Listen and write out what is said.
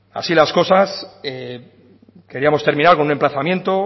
así las cosas queríamos terminar con un emplazamiento